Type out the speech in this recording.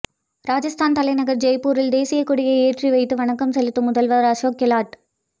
ராஜஸ்தான் தலைநகர் ஜெய்ப்பூரில் தேசியக் கொடி ஏற்றி வைத்து வணக்கம் செலுத்தும் முதல்வர் அசோக் கெலாட்